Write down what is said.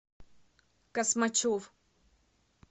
космачев